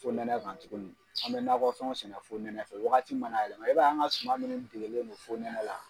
Fonɛnɛ kan tuguni an bɛ nakɔ fɛnw sɛnɛ fonɛnɛ fɛ wagati mana yɛlɛma e b'a ye an ka suma min degelen do fonɛnɛ la